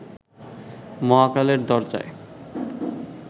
মহাকালের দরজায়